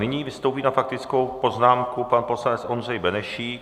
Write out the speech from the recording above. Nyní vystoupí na faktickou poznámku pan poslanec Ondřej Benešík.